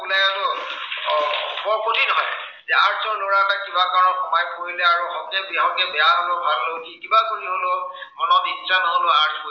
বৰ কঠিন হয়। যে arts ৰ লৰা এটা কিবা কাৰনত সোমাই পৰিলে আৰু হকে বিহকে, বেয়া হলেও ভাল হলেও সি কিবা কৰি হলেও মনত ইচ্ছা নহলেও